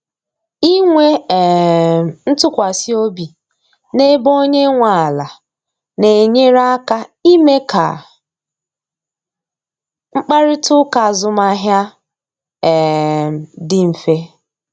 Inwe um ntụkwasị obi na-ebe onye nwe ala na-enyere aka ime ka mkparịta ụka azụmahịa um dị mfe.